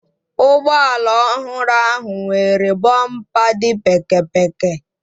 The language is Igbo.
Ụgbọala ọhụrụ ahụ nwere bọmpa dị pékėpékė.